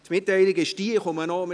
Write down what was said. Die Mitteilung ist folgende: